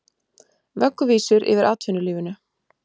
Vögguvísur yfir atvinnulífinu